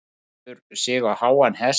Setur sig á háan hest.